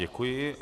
Děkuji.